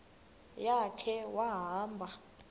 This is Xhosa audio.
ya khe wahamba